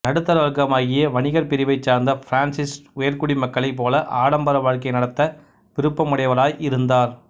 நடுத்தர வர்க்கமாகிய வணிகர் பிரிவைச் சார்ந்த பிரான்சிசு உயர்குடி மக்களைப் போல ஆடம்பர வாழ்க்கை நடத்த விருப்பமுடையவராய் இருந்தார்